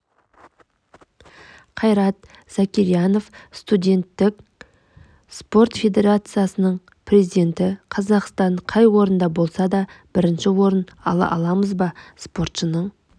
қайрат закирьянов студенттік спорт федерациясының президенті қазақстан қай орында болады бірінші орын ала аламыз ба спортшының